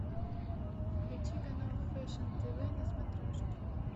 включи канал фэшн тв на смотрешке